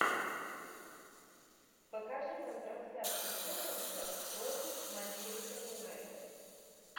покажи нам трансляцию тоттенхэм против манчестер юнайтед